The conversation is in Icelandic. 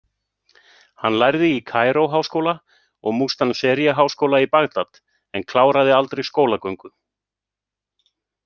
Hann lærði í Kaíró-háskóla og Mustanseriya-háskóla í Bagdad, en kláraði aldrei skólagöngu.